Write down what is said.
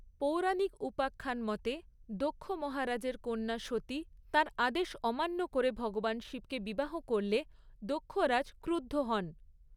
পৌরাণিক উপাখ্যান মতে, দক্ষ মহারাজের কন্যা সতী তাঁর আদেশ অমান্য করে ভগবান শিবকে বিবাহ করলে দক্ষরাজ ক্রুদ্ধ হন।